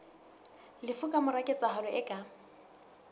lefu kamora ketsahalo e ka